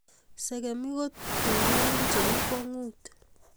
sekemik ko torurun chebo kwong'ut